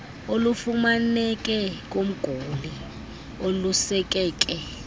olufumaneke kumguli olusekeke